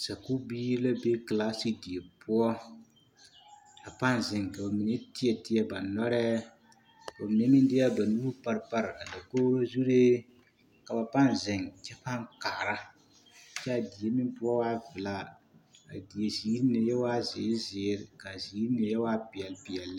Sakubiiri la be kilaase die poɔ a paaŋ zeŋ ka ba mine teɛ teɛ ba nɔrɛɛ ka ba mine meŋ de a ba nuuri pare pare a dakogro zuree ka ba paaŋ zeŋ kyɛ paŋ kaara kaa kyɛ a die meŋ poɔ waa velaa a die ziiri mine yɛ waaɛ zeere zeere kaa ziiri mine yɛ waa peɛl peɛl lɛ.